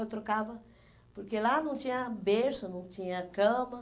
Eu trocava porque lá não tinha berço, não tinha cama.